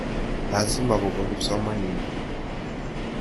Lasima kopwa kipsomaninik.